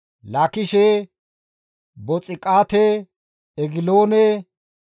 Kaboone, Lahimaase, Kitiliishe,